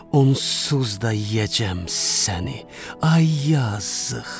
Onsuz da yeyəcəm səni, ay yazıq.